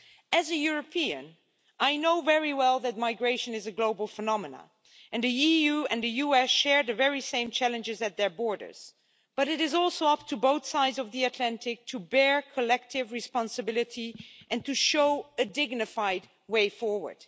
As a European, I know very well that migration is a global phenomena and the EU and the US share the very same challenges at their borders, but it is also up to both sides of the Atlantic to bear collective responsibility and to show a dignified way forward.